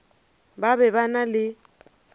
ba be ba na le